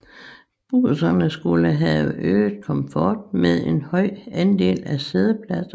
Busserne skulle have øget komfort med en høj andel af siddepladser